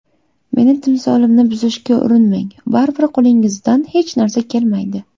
Meni timsolimni buzishga urinmang baribir qo‘lingizdan hech narsa kelmaydi.